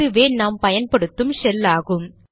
இதுவே நாம் பயன்படுத்தும் ஷெல் ஆகும்